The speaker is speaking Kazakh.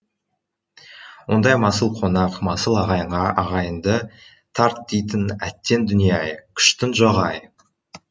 ондай масыл қонақ масыл ағайынға аяғыңды тарт дейтін әттең дүние ай күштің жоғы ай